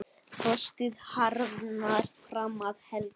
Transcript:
Frostið harðnar fram að helgi.